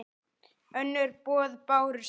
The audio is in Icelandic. Önnur boð bárust ekki.